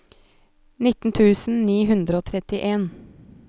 nitten tusen ni hundre og trettien